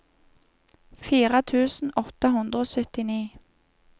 fire tusen åtte hundre og syttini